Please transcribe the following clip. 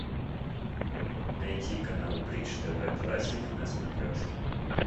найти канал бридж тв классик на смотрешке